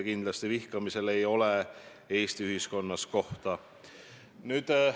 Kindlasti ei ole vihkamisele Eesti ühiskonnas kohta.